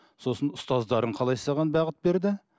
сосын ұстаздарың қалай саған бағыт берді